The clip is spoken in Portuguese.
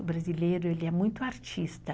O brasileiro, ele é muito artista.